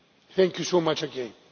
Thank you so much again.